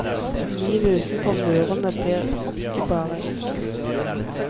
Livet utenfor murene blir ikke bare enkelt.